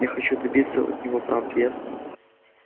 я хочу добиться от него правды ясно